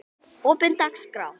opin dagskrá